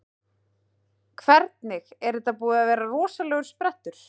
Hvernig, er þetta búinn að vera rosalegur sprettur?